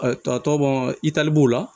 tɔ bɔn itali b'o la